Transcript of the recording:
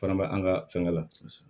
Fana b'an ka fɛnkɛ la